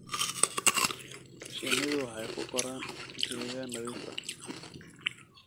Shinnidu waxay ku koraan deegaan nadiif ah.